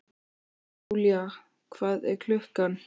Julia, hvað er klukkan?